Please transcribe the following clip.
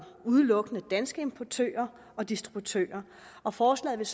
udelukkende danske importører og distributører og forslaget